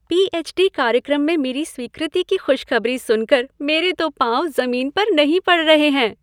PH. D. कार्यक्रम में मेरी स्वीकृति की खुशखबरी सुनकर मेरे तो पाँव ज़मीन पर नहीं पड़ रहे हैं!